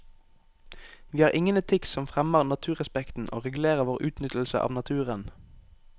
Vi har ingen etikk som fremmer naturrespekten og regulerer vår utnyttelse av naturen.